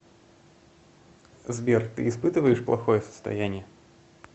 сбер ты испытываешь плохое состояние